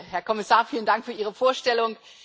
Herr Kommissar, vielen Dank für Ihre Vorstellung.